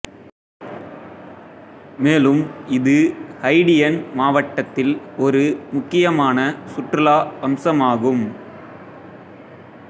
மேலும் இது ஹைடியன் மாவட்டத்தில் ஒரு முக்கியமான சுற்றுலா அம்சமாகும்